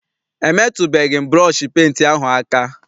Emetụbeghi m burọshi penti ahụ aka.